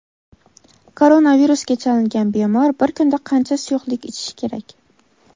Koronavirusga chalingan bemor bir kunda qancha suyuqlik ichishi kerak?.